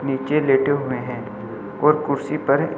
नीचे लेटे हुए हैं और कुर्सी पर--